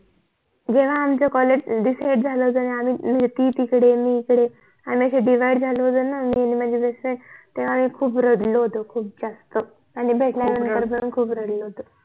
जेव्हा आमच COLLEGE DECIDE झाल होत ना म्हणजे ती तिकडे मी इकडे आणि आम्ही अशे DIVIDE झाल होत न मी आणि माझी BEST FRIEND तेव्हा आम्ही खूप रडलो होतो खूप जास्त आणि भेटल्यावर पण खूप रडलो होतो